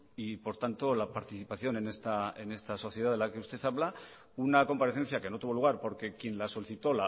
y por tanto la participación en esta sociedad de la que usted habla una comparecencia que no tuvo lugar porque quien la solicitó